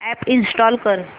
app install कर